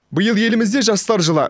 биыл елімізде жастар жылы